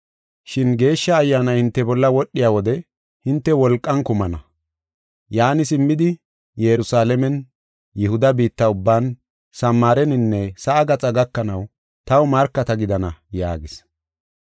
Shin Geeshsha Ayyaanay hinte bolla wodhiya wode, hinte wolqan kumana. Yaani simmidi, Yerusalaamen, Yihuda biitta ubban, Samaareninne sa7a gaxa gakanaw taw markata gidana” yaagis.